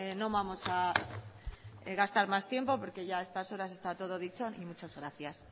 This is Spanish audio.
no vamos a gastar más tiempo porque ya a estas horas está todo dicho muchas gracias